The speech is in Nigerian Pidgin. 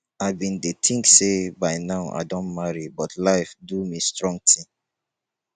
i bin dey think say by now i don marry but life do me strong thing